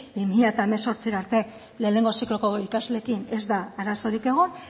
bi mila hemezortzira arte lehenengo zikloko ikasleekin ez da arazorik egon